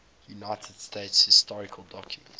united states historical documents